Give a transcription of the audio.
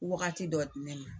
Wagati dɔ di ne ma.